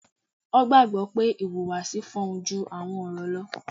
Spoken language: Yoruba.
Wọ́n gbàgbọ́ pé 'ìhùwàsí fọhùn ju àwọn ọ̀rọ̀ lọ'